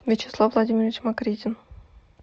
вячеслав владимирович макридин